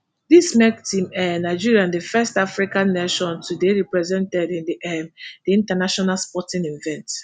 dis make team um nigeria di first african nation to dey represented in um di international sporting event